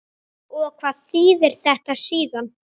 Og hvað þýðir þetta síðan?